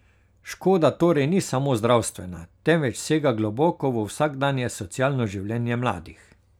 Škoda torej ni samo zdravstvena, temveč sega globoko v vsakdanje socialno življenje mladih.